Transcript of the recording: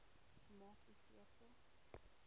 maak u keuse